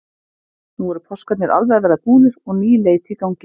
Nú eru páskarnir alveg að verða búnir og ný leit í gangi.